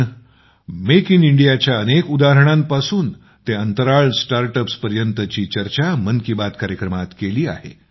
आम्ही make in इडियाच्या अनेक उदाहरणांपासून ते अंतराळ स्टार्ट अप्स पर्यंतची चर्चा मन की बात कार्यक्रमात केली आहे